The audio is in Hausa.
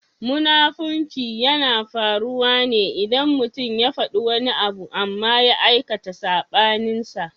Munafunci yana faruwa ne idan mutum ya faɗi wani abu amma ya aikata saɓaninsa.